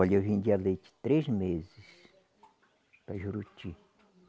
Olha, eu vendia leite três meses para Juruti.